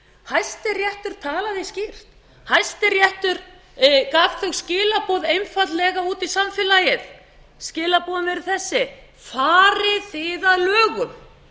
hæstiréttur talaði skýr hæstiréttur gaf þau skilaboð einfaldlega út í samfélagið skilaboðin eru þessi farið þið að lögum